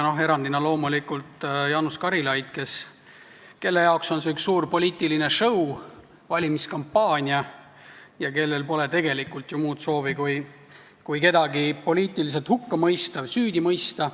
Erandiks oli loomulikult Jaanus Karilaid, kelle jaoks on see üks suur poliitiline show, valimiskampaania, ja kellel pole tegelikult ju muud soovi kui kedagi poliitiliselt hukka mõista või süüdi mõista.